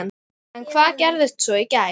En hvað gerist svo í gær?